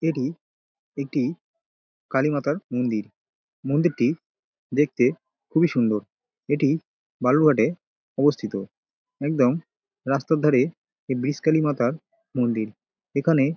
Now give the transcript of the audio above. এটি একটি কালী মাতার মন্দির। মন্দিরটি দেখতে খুবই সুন্দর। এটি বালুরঘাটে অবস্তিত একদম রাস্তার ধারে এই ব্রিজকালী মাতার মন্দির। এখানে--